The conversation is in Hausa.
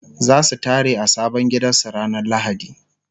zasu tare a sabon gidan su ranar lahadi